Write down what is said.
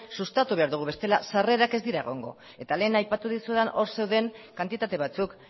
sustatu behar dugu bestela sarrerak ez dira egongo eta lehen aipatu dizudan or zeuden kantitate batzuk